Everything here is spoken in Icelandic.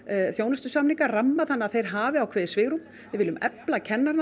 þjónustusamninga ramma þannig að þeir hafi ákveðið svigrúm við viljum efla kennarana